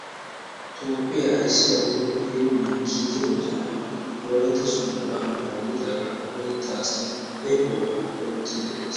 Toophphiya ayssiya woykko heemmiya kiike moconay Wolaytta Sooddo ambba yiidaaga Wolaytta asay ekuwaba oychchiiddi de"es.